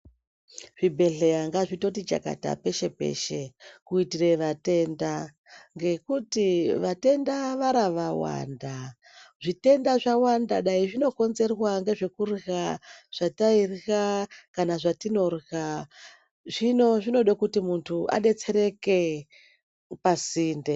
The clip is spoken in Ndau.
Zvibhedhleya ngazvitoti chakata peshe-peshe kuitire vatenda ngekuti vatenda vaara vawanda. Zvitenda zvawanda, dai zvinokonzerwa ngezvekurya zvatairya kana zvatinorya. Zvino zvinode kuti muntu adetsereke pasinde.